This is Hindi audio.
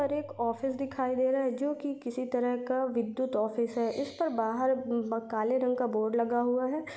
और एक ऑफिस दिखाई दे रहा है जो कि किसी तरह का विद्युत ऑफिस है इसके बाहर म अ काले रंग का बोर्ड लगा हुआ है।